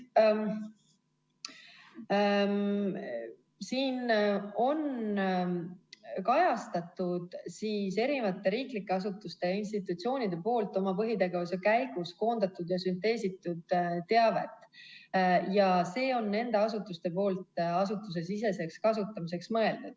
Siin on kajastatud riiklike asutuste ja institutsioonide oma põhitegevuse käigus koondatud ja sünteesitud teavet ning see on mõeldud nende asutuste asutusesiseseks kasutamiseks.